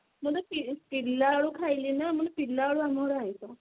ମୁଁ ତ ପିଲା ପିଲା ବେଳୁ ଖାଇଲି ନା ମାନେ ପିଲା ବେଳୁ ଆମ ଘରେ ଆଇଂଷ